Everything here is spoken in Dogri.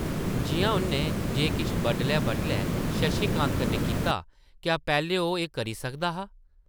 जिʼयां उʼन्नै जे किश बड्डलै-बड्डलै शशि कांत कन्नै कीता, क्या पैह्लें ओह् एह् करी सकदा हा ?